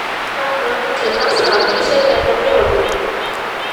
kamaa tenasaa keishaita te nairobi